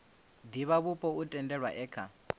divhavhupo o tendelwaho e kha